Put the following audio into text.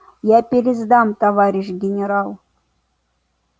я пересдам товарищ генерал